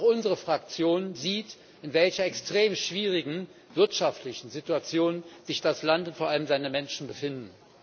Und auch unsere Fraktion sieht, in welcher extrem schwierigen wirtschaftlichen Situation sich das Land und vor allem seine Menschen befinden.